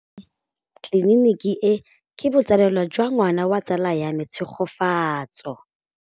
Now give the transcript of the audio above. Tleliniki e, ke botsalêlô jwa ngwana wa tsala ya me Tshegofatso.